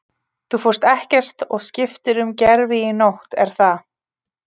Þú fórst ekkert og skiptir um gervi í nótt, er það?